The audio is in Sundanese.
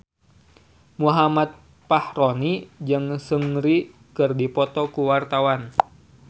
Muhammad Fachroni jeung Seungri keur dipoto ku wartawan